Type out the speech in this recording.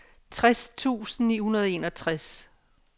tres tusind ni hundrede og enogtres